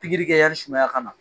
Pikiri kɛyai sumaya ka na.